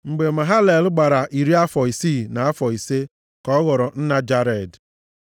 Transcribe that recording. Mgbe Mahalalel gbara iri afọ isii na afọ ise ka ọ ghọrọ nna Jared.